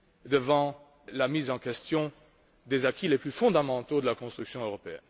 devant la remise en question des acquis les plus fondamentaux de la construction européenne.